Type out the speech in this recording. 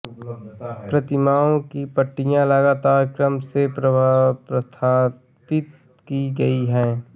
प्रतिमाओं की पट्टियाँ लगातार क्रम में स्थापित की गई है